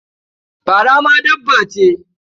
Fara ma dabba ce?